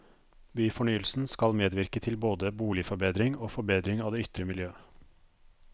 Byfornyelsen skal medvirke til både boligforbedring og forbedring av det ytre miljø.